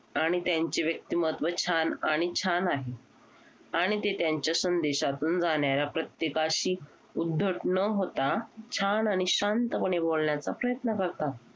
आणि त्यांचे व्यक्तिमत्त्व छान आणि छान आहे आणि ते त्यांच्या संदेशातून जाणाऱ्या प्रत्येकाशी उद्धट न होता छान आणि शांतपणे बोलण्याचा प्रयत्न करतात.